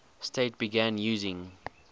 states began using